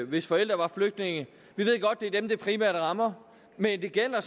hvis forældre var flygtninge vi ved godt at det primært rammer men det gælder